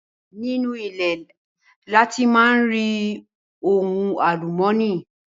Nínú ilẹ̀ ni a ti máa ń rí ohun àlùmọ́nì